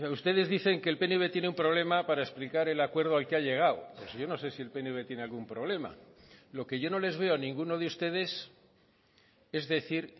ustedes dicen que el pnv tiene un problema para explicar el acuerdo al que ha llegado yo no sé si el pnv tiene algún problema lo que yo no les veo a ninguno de ustedes es decir